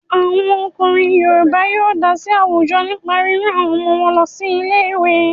Àwọn ọkùnrin Yorùbá yóó dá sí àwùjọ nípa rírán àwọn ọmọ wọn lọ ilé ìwé.